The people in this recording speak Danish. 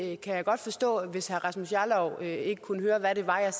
jeg kan godt forstå hvis herre rasmus jarlov ikke kunne høre hvad det var jeg